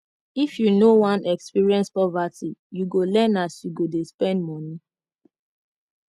if you no wan experience poverty you go learn as you go dey spend moni